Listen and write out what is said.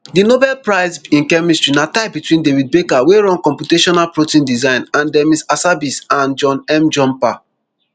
di nobel prize in chemistry na tie between david baker wey run computational protein design and demis hassabis and john m jumper